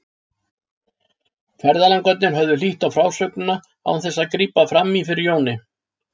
Ferðalangarnir höfðu hlýtt á frásögnina án þess að grípa fram í fyrir Jóni.